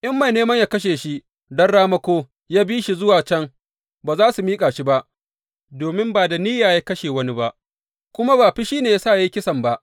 In mai neman yă kashe shi don ramako ya bi shi zuwa can, ba za su miƙa shi ba domin ba da niyya ya kashe wani ba, kuma ba fushi ne ya sa ya yi kisan ba.